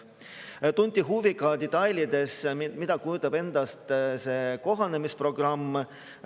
Tunti huvi, mida detailselt kujutab endast see kohanemisprogramm.